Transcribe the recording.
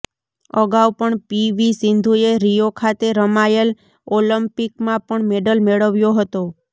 અગાઉ પણ P V સિંધુએ રીયો ખાતે રમાયેલ ઓલિમ્પિકમાં પણ મેડલ મેળવ્યો હતો